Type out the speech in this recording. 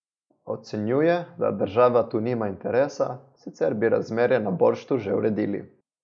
Ocenjuje, da država tu nima interesa, sicer bi razmere na Borštu že uredili.